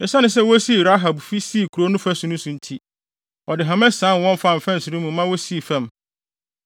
Esiane sɛ wosii Rahab fi sii kurow no fasu so nti, ɔde hama sian wɔn faa mfɛnsere mu maa wosii fam.